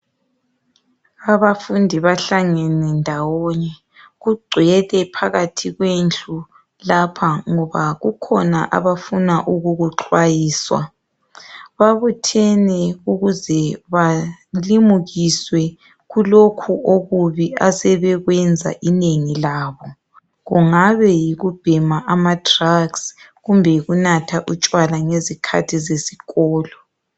abafundi bahlangene ndawonye kugcwele phakathi kwendlu lapha ngoba kukhona abafuna ukukuxwayiswa babuthene ukuze balimukiswe kulokhu okubi asebekwenza inengi labo kungabe yikubhema ama drugs kumbe yikunatha utshwala ngezikhathi zesikolo